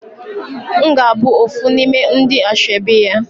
Mgabu ofu nime ndi ashebi ya